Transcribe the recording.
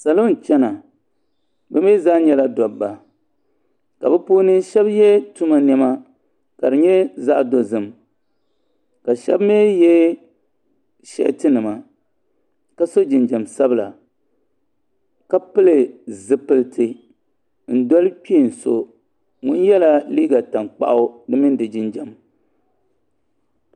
salo n-chana bɛ mi zaa nyɛla dɔbba ka bɛ puuni shɛba ye tuma nɛma ka di nyɛ zaɣ' dozim ka shɛba mi ye sheetinima ka so jinjam sabila ka pili zipiliti n-doli kpeen so ŋun yɛla liiga tankpaɣu di mini di jinjam